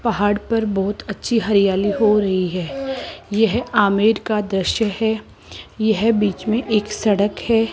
पहाड़ पर बहुत अच्छी हरियाली हो रही है यह आमेर का दृश्य है यह बीच में एक सड़क है।